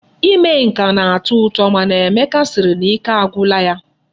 Ime nka na-atọ ụtọ mana Emeka sịrị na ike agwụla ya.